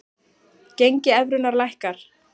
Gengi evrunnar lækkar